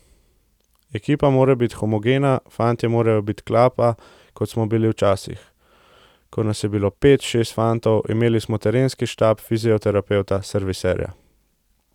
Ekipa mora biti homogena, fantje morajo biti klapa, kot smo bili včasih, ko nas je bilo pet, šest fantov, imeli smo trenerski štab, fizioterapevta, serviserja.